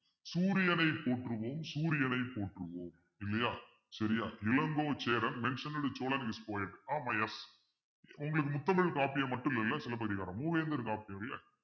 சூரியனை போற்றுவோம் சூரியனை போற்றுவோம் இல்லையா சரியா இளங்கோ சேரன் is poet ஆமா yes உங்களுக்கு முத்தமிழ் காப்பியா மட்டும் இல்லை சிலப்பதிகாரம் மூவேந்தர் காப்பியங்கள